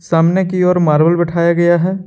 सामने की ओर मार्बल बैठाया गया है।